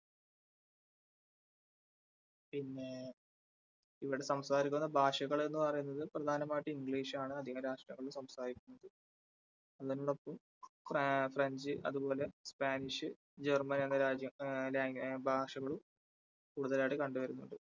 ഇവിടെ സംസാരിക്കുന്ന ഭാഷകൾ എന്ന് പറയുന്നത് പ്രധാനമായിട്ടും english ആണ് അധികം രാഷ്ട്രങ്ങളിലും സംസാരിക്കുന്നത് ഫ്രാ french അതുപോലെ spanish, german എന്നീ ഭാഷകളും കൂടുതലായിട്ട് കണ്ടുവരുന്നുണ്ട്.